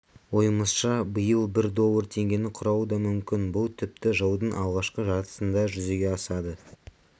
ойымызша биыл бір доллар теңгені құрауы да мүмкін бұл тіпті жылдың алғашқы жартысында жүзеге асады